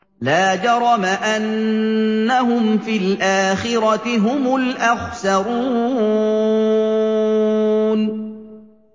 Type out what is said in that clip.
لَا جَرَمَ أَنَّهُمْ فِي الْآخِرَةِ هُمُ الْأَخْسَرُونَ